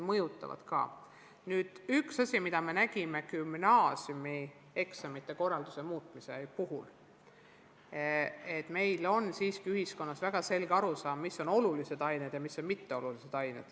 Üks asi, mida me gümnaasiumieksamite korralduse muutmise puhul nägime, on see, et meil on ühiskonnas väga selge arusaam sellest, millised on olulised õppeained ja millised on mitteolulised.